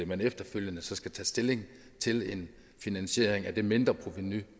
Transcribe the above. man efterfølgende skal tage stilling til en finansiering af det mindreprovenu